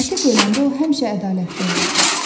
Əti böləndə o həmişə ədalətli olurdu.